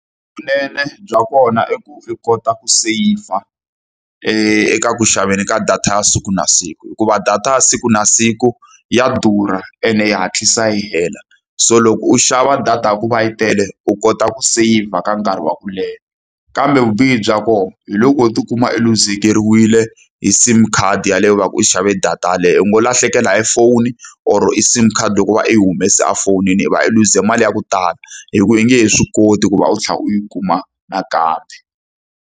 Vunene bya kona i ku u kota ku seyivha eka ku xaveni ka data ya siku na siku. Hikuva data ya siku na siku ya durha ene yi hatlisa yi hela, so loko u xava data ya ku va yi tele u kota ku seyivha ka nkarhi wa ku leha. Kambe vubihi bya kona, hi loko u ti kuma a luzekeriwile hi SIM card yaleyo ku va ku u xave data yaleyo. U ngo lahlekela hi foni or hi SIM card loko i va i yi humese efonini. I va i luze mali ya ku tala, hikuva i nge he swi koti ku va u tlhela u yi kuma nakambe.